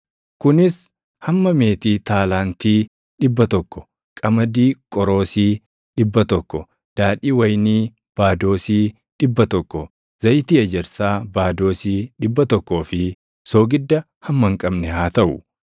kunis hamma meetii taalaantii dhibba tokko, qamadii qoroosii + 7:22 Qoroosiin tokko liitirii 220. dhibba tokko, daadhii wayinii baadoosii + 7:22 Baadoosiin tokko liitirii 22. dhibba tokko, zayitii ejersaa baadoosii dhibba tokkoo fi soogidda hamma hin qabne haa taʼu.